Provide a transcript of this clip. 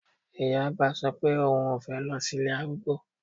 Ìyá àgbà sọ pé oùn fẹ́ lọ sí ilé arúgbó